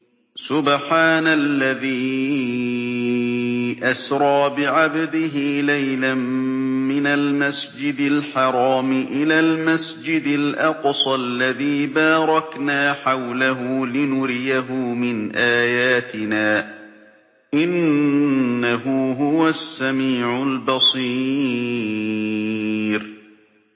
سُبْحَانَ الَّذِي أَسْرَىٰ بِعَبْدِهِ لَيْلًا مِّنَ الْمَسْجِدِ الْحَرَامِ إِلَى الْمَسْجِدِ الْأَقْصَى الَّذِي بَارَكْنَا حَوْلَهُ لِنُرِيَهُ مِنْ آيَاتِنَا ۚ إِنَّهُ هُوَ السَّمِيعُ الْبَصِيرُ